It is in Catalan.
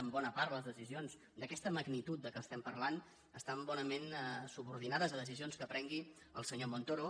en bona part les decisions d’aquesta magnitud de què parlem estan bonament subordinades a decisions que prengui el senyor montoro